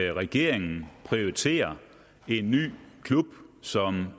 at regeringen prioriterer en ny klub som